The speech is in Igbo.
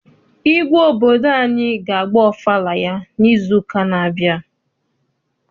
Igwe obodo anyị ga agba ọfala ya n'izu ụka n'abia.